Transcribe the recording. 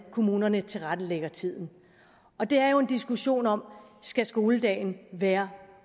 kommunerne tilrettelægger tiden og det er jo en diskussion om skal skoledagen være